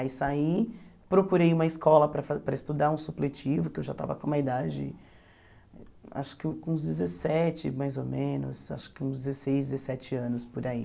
Aí saí, procurei uma escola para fa para estudar um supletivo, que eu já estava com uma idade, acho que uns dezessete mais ou menos, acho que uns dezesseis, dezessete anos por aí.